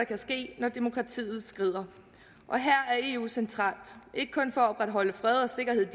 kan ske når demokratiet skrider her er eu centralt ikke kun for at opretholde fred og sikkerhed